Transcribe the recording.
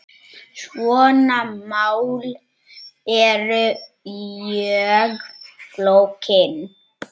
Svona mál eru mjög flókin.